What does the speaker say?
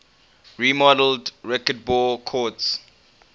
remodeled racquetball courts